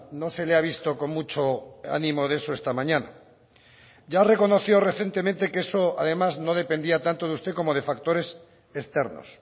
no se le ha visto con mucho ánimo de eso esta mañana ya reconoció recientemente que eso además no dependía tanto de usted como de factores externos